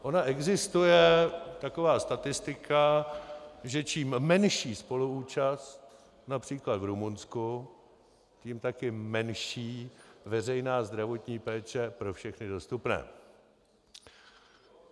Ona existuje taková statistika, že čím menší spoluúčast, například v Rumunsku, tím také menší veřejná zdravotní péče pro všechny dostupné.